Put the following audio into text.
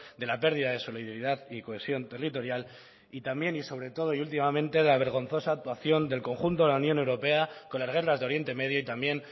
de la pérdida de solidaridad y cohesión territorial y también y sobre todo y últimamente la vergonzosa actuación del conjunto de la unión europea con las guerras de oriente medio y también